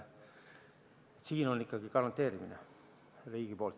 Siin on ikkagi garanteerimine riigi poolt.